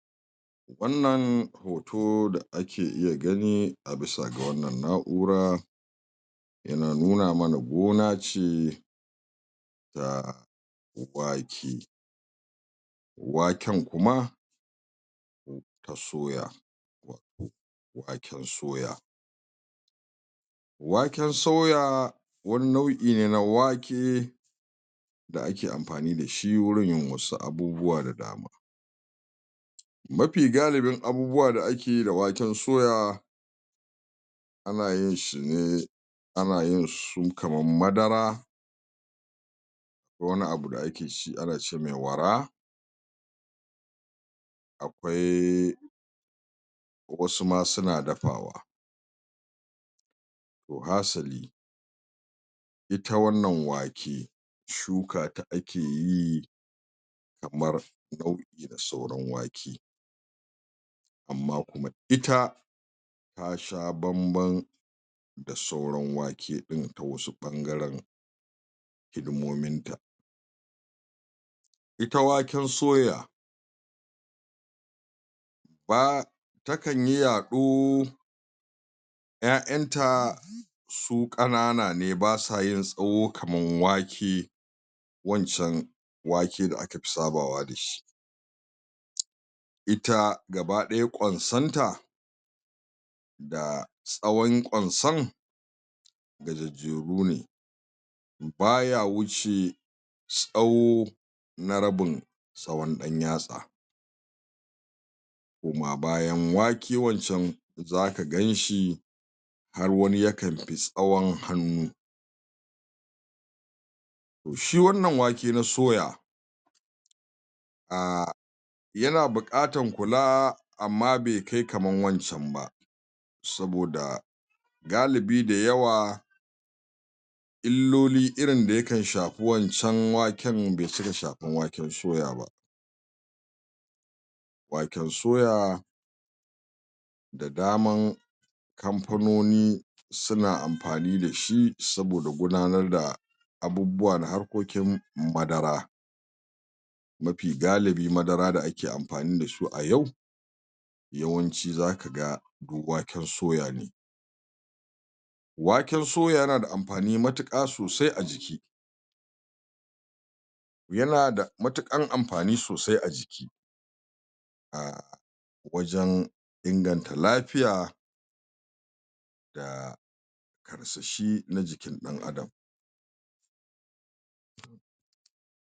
wannan hoto da ake iya gani a bisa ga wannan na'ura ana nuna mana gona ce ta wake waken kuma na soya waken soya waken soya wani nau'i ne na wake da ake amfani dashi gurin yin wasu abubuwa da dama mafi galibin abubuwa da ake yi da waken soya ana yin shi ne anayin su kamar madara wani abu da ake ci ana ci me wara akwai wasu ma suna dafawa to hasali ita wannan wake shuka ta ake yi kamar nau;i na sauran wake amma kuma ita tasha bambam da sauran wake ɗin ta wasu ɓangaran hidimomin ta ita waken soya um takanyi yaɗo ƴaƴanta su ƙanana ne basa yin tsaho kaman wake wancan wake da aka fi sabawa dashi ita gabaɗaya ƙwansonta da tsawon ƙwanson gajajjeru ne baya wuce tsawo na rabin tsawon ɗan yatsa koma bayan wake wancan zaka ganshi har wani yakanfi tsawon hannu shi wannan wake na soya um yana buƙatan kula amma be kai wancan ba saboda galibi da yawa illoli irin da yakan shafi wancan waken be cika shafan waken soya ba waken soya da daman kamfanoni suna amfani dashi saboda gudanar da abubuwa na harkokin madara mafi galibi madara da ake amfani dasu a yau yawanci zaka ga waken soya ne waken soya yana da amfani matuƙa sosai a jiki yana da matuƙan amfani sosai a jiki ah wajan inganta lafiya da karsashi na jikinɗan adam